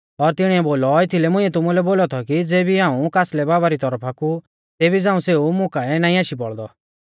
और तिणीऐ बोलौ एथीलै मुंइऐ तुमुलै बोलौ थौ कि ज़ेबी झ़ांऊ कासलै बाबा री तौरफा कु एऊ वरदान नाईं मिला लौ तेबी झ़ांऊ सेऊ मुं काऐ नाईं आशी बौल़दौ